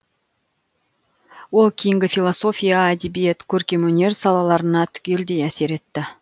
ол кейінгі философия әдебиет көркемөнер салаларына түгелдей әсер етті